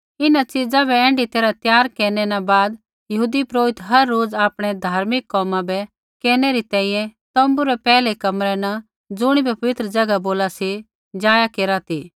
इन्हां च़ीज़ा बै ऐण्ढी तैरहा त्यार केरनै न बाद यहूदी पुरोहित हर रोज़ आपणै धार्मिक कोमा बै केरनै री तैंईंयैं तोम्बू रै पैहलै कमरै न ज़ुणिबै पवित्र ज़ैगा बोला सी जाया केरा ती